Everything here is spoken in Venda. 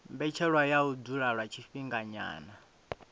mbetshelwa ya u dzula lwa tshifhinganyana